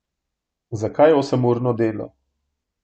Zakaj osemurno delo?